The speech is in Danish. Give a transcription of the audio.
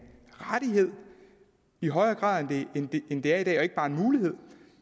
rettighed i højere grad end det er i dag og ikke bare en mulighed